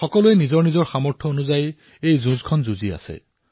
সকলোৱে নিজৰ সামৰ্থৰ হিচাপত এই যুদ্ধত অৱতীৰ্ণ হৈছে